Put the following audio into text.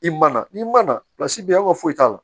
I mana n'i mana bɛ yan an ka foyi t'a la